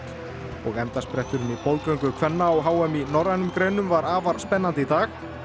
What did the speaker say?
og endaspretturinn í kvenna á h m í norrænum greinum var afar spennandi í dag